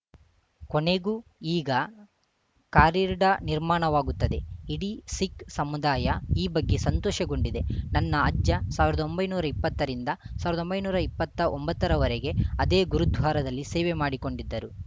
ಕೊನೆಗೂ ಈಗ ಕಾರಿರ್ಡ್ ನಿರ್ಮಾಣವಾಗುತ್ತದೆ ಇಡೀ ಸಿಖ್‌ ಸಮುದಾಯ ಈ ಬಗ್ಗೆ ಸಂತೋಷಗೊಂಡಿದೆ ನನ್ನ ಅಜ್ಜ ಸಾವಿರದ ಒಂಬೈನೂರ ಇಪ್ಪತ್ತರಿಂದ ಸಾವಿರದ ಒಂಬೈನೂರ ಇಪ್ಪತ್ತ ಒಂಬತ್ತರವರೆಗೆ ಅದೇ ಗುರುದ್ವಾರದಲ್ಲಿ ಸೇವೆ ಮಾಡಿಕೊಂಡಿದ್ದರು